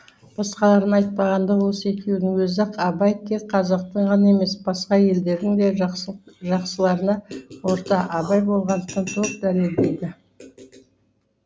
басқаларын айтпағанда осы екеуінің өзі ақ абай тек қазақтың ғана емес басқа елдердің де жақсыларына ортақ абай болғандығын толық дәлелдейді